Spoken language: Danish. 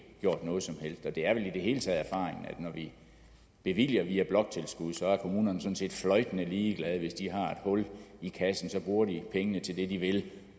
gjort noget som helst og det er vel i det hele taget erfaringen at når vi bevilger via bloktilskud er kommunerne sådan set fløjtende ligeglade hvis de har et hul i kassen bruger de pengene til det de vil